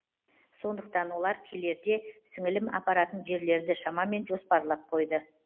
сондықтан олар келерде сіңілім апаратын жерлерді шамамен жоспарлап қойды